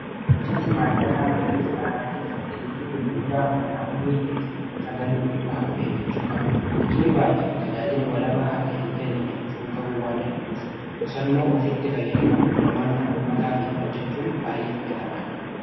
Bulchinsi maallaqaa mana kiristaanaa keessatti liqii gurguddaa humnaa olii keessa galuu irraa of eeggachuu qaba. Liqiin baay'atu tajaajila walabaa akka hin kennine gufuu ta'uu waan danda'uuf qusannoo ofiitti fayyadamuun hirmaannaa ummataatiin hojjachuun baay'ee filatamaadha.